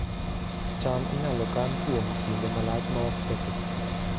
cham inyalo kan kuom kinde malach maok kethre